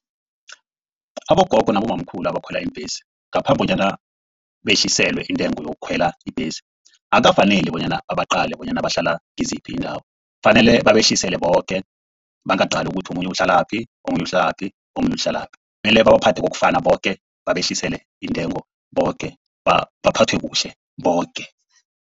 Abogogo nabobamkhulu abakhwela iimbhesi ngaphambi bonyana behliselwe intengo yokukhwela ibhesi. Akukafaneli bonyana babaqale bonyana bahlala kiziphi iindawo. Kufanele babehlisele boke bangaqali ukuthi omunye uhlalaphi, omunye uhlalaphi, omunye uhlalaphi. Kumele babaphathe kokufana boke, babehlisele iintengo boke, baphathwe kuhle boke.